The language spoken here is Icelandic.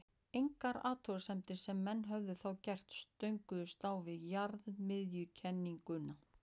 engar athuganir sem menn höfðu þá gert stönguðust á við jarðmiðjukenninguna